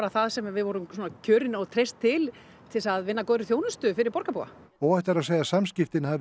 það sem við vorum kjörn og treyst til til þess að vinna að góðri þjónustu fyrir borgarbúa óhætt er að segja að samskiptin hafi